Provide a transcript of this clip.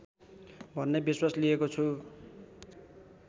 भन्ने विश्वास लिएको छु